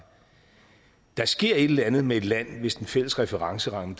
der sker et eller andet med et land hvis den fælles referenceramme